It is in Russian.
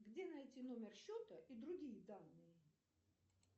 где найти номер счета и другие данные